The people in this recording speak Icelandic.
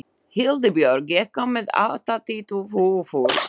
Hildibjörg, ég kom með áttatíu húfur!